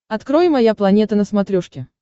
открой моя планета на смотрешке